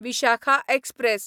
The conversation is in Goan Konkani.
विशाखा एक्सप्रॅस